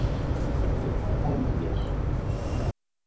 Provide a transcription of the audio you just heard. Ég er komin hér